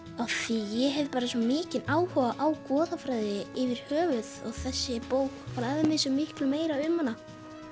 ég hef bara svo mikinn áhuga á goðafræði yfir höfuð og þessi bók fræðir mig svo miklu meira um hana